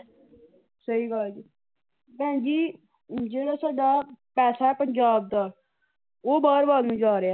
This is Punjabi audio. ਸਹੀ ਗੱਲ ਭੈਣ ਜੀ, ਜਿਹੜਾ ਸਾਡਾ ਪੈਸਾ ਹੈ ਪੰਜਾਬ ਦਾ ਉਹ ਬਾਹਰ ਵੱਲ ਨੂੰ ਜਾ ਰਿਹਾ ਹੈ।